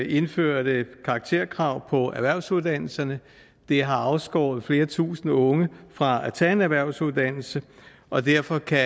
indførte karakterkrav på erhvervsuddannelserne det har afskåret flere tusinde unge fra at tage en erhvervsuddannelse og derfor kan